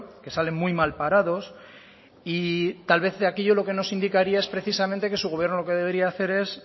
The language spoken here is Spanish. que salen muy mal parados y tal vez aquello lo que nos indicaría es precisamente que su gobierno lo que debería hacer es